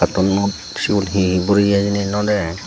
katunnot segun he boroeye hejeni no dega.